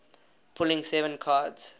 pulling seven cards